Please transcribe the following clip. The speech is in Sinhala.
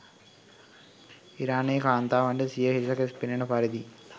ඉරානයේ කාන්තාවන්ට සිය හිස කෙස් පෙනන පරිදි